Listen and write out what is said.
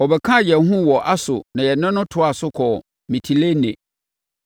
Ɔbɛkaa yɛn ho wɔ Aso na yɛne no toaa so kɔɔ Mitilene.